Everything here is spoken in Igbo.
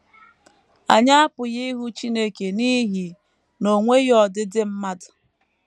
Anyị apụghị ịhụ Chineke n’ihi na o nweghị ọdịdị mmadụ.